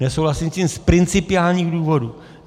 Nesouhlasím s tím z principiálních důvodů.